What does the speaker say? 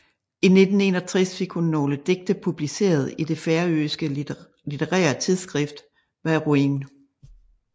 I 1961 fik hun nogle digte publiceret i det færøske litterære tidsskrift Varðin